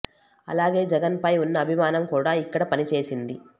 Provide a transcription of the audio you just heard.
అలాగే జగన్ పై ఉన్న అభిమానం కూడా ఇక్కడ పని చేసింది